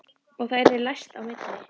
Og það yrði læst á milli.